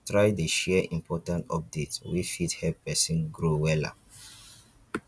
try dey share important update wey fit help pesin grow wella